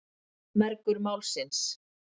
Mergur Málsins.